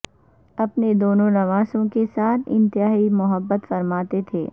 اپنے دونوں نواسوں کے ساتھ انتہائی محبت فرماتے تھے